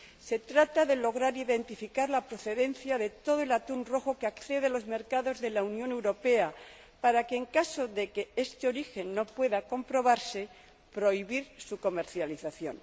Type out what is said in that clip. Se trata de lograr identificar la procedencia de todo el atún rojo que accede a los mercados de la Unión Europea para que, en caso de que este origen no pueda comprobarse, prohibir su comercialización.